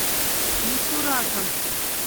мисурата